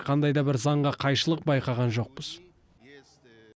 қандай да бір заңға қайшылық байқаған жоқпыз